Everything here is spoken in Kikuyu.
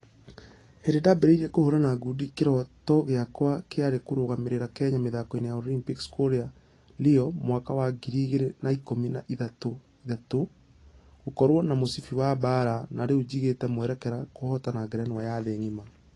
"Hĩndĩ ndambereirie kũhũrana ngundi kĩroto giakwa kĩarĩ kũrũgamĩrĩra kenya mĩthako-inĩ ya olympics kũrĩa rio mwaka wa ngiri igĩrĩ na ikũmi na ithathatũ. Gũkorwo na mũcibi wa baara na rĩu jigĩte mwerekera kũhotana ngerenwa ya thĩ ngima."